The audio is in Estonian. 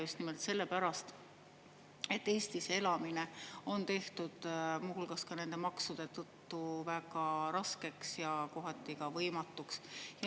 Just nimelt sellepärast et Eestis elamine on tehtud muu hulgas ka nende maksude tõttu väga raskeks ja kohati ka võimatuks.